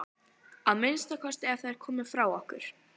Að minnsta kosti ef þær komu frá okkur.